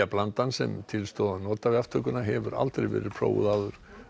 lyfjablandan sem til stóð að nota við aftökuna hefur aldrei verið prófuð áður